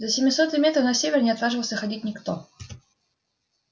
за семисотый метр на север не отваживался ходить никто